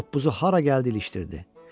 Toppuzu hara gəldi ilişdirdi.